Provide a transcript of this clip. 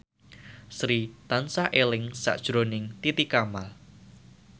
Sri tansah eling sakjroning Titi Kamal